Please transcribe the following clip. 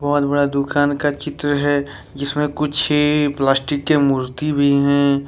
बहुत बड़ा दुकान का चित्र है जिसमें कुछ प्लास्टिक के मूर्ति भी है।